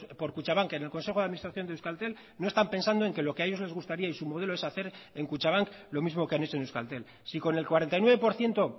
por kutxabank en el consejo de administración de euskaltel no están pensando en que lo que a ellos les gustaría y su modelo es hacer en kutxabank lo mismo que han hecho en euskaltel si con el cuarenta y nueve por ciento